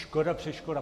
Škoda, přeškoda.